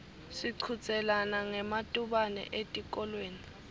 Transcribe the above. sichudzelana ngematubane etikolweni